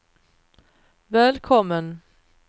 välkommen